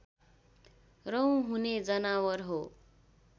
रौँ हुने जनावर हो